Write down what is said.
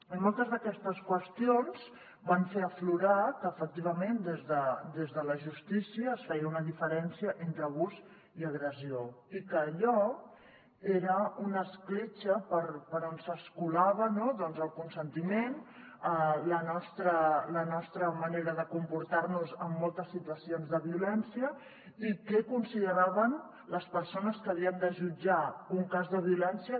i moltes d’aquestes qüestions van fer aflorar que efectivament des de la justícia es feia una diferència entre abús i agressió i que allò era una escletxa per on s’escolava doncs el consentiment la nostra manera de comportar nos en moltes situacions de violència i què consideraven les persones que havien de jutjar un cas de violència